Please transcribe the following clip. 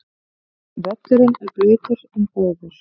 Völlurinn blautur en góður